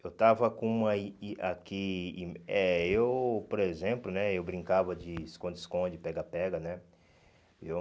Eu estava com uma e aqui... Eh eu, por exemplo né, eu brincava de esconde-esconde, pega-pega, né? Eu